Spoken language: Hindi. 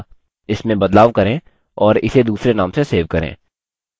इसमें बदलाव करें और इसे दूसरे name से सेव करें